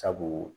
Sabu